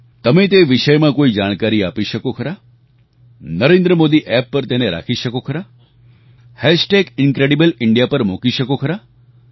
તમે તે વિષયમાં કોઈ જાણકારી આપી શકો ખરા NarendraModiApp પર તેને રાખી શકો ખરા incredible India hash tag incredible India પર મૂકી શકો ખરા